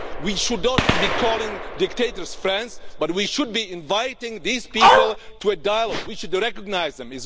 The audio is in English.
We should not be calling dictators friends, but we should be inviting these people to a dialogue. We should recognise them.